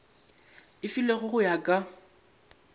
e filwego go ya ka